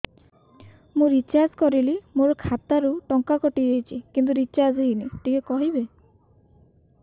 ମୁ ରିଚାର୍ଜ କରିଲି ମୋର ଖାତା ରୁ ଟଙ୍କା କଟି ଯାଇଛି କିନ୍ତୁ ରିଚାର୍ଜ ହେଇନି ଟିକେ କହିବେ